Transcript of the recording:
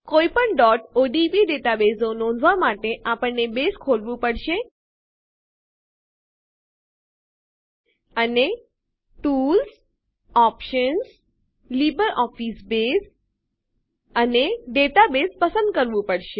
કોઈપણ odb ડેટાબેઝો નોંધવા માટે આપણને બેઝ ખોલવું પડશે અને ટૂલ્સ ઓપ્શન્સ લિબ્રિઓફિસ બસે અને ડેટાબેસ પસંદ કરવું પડશે